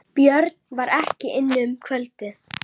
Björn var ekki inni um kvöldið.